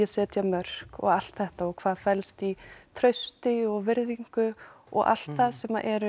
setja mörk og allt þetta hvað felst í trausti og virðingu og allt það sem eru